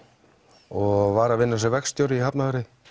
og var að vinna sem verkstjóri í Hafnarfirði